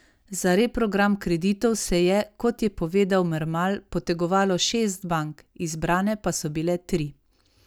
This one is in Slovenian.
Za reprogram kreditov se je, kot je povedal Mermal, potegovalo šest bank, izbrane pa so bile tri.